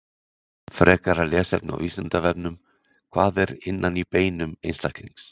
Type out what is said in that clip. Frekara lesefni á Vísindavefnum: Hvað er innan í beinum einstaklings?